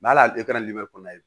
hali kɔnɔ ye